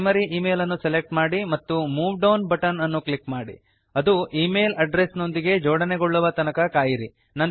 primary email ಅನ್ನು select ಮಾಡಿ ಮತ್ತು ಮೂವ್ ಡೌನ್ ಬಟನ ಅನ್ನು ಕ್ಲಿಕ್ ಮಾಡಿ ಅದು e ಮೇಲ್ ಅಡ್ರೆಸ್ ನೊಂದಿಗೆ ಜೋಡಣೆಗೊಳ್ಳುವ ತನಕ ಕಾಯಿರಿ